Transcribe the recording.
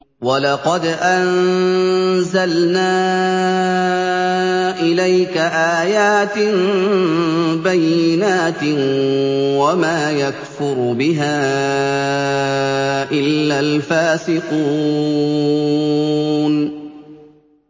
وَلَقَدْ أَنزَلْنَا إِلَيْكَ آيَاتٍ بَيِّنَاتٍ ۖ وَمَا يَكْفُرُ بِهَا إِلَّا الْفَاسِقُونَ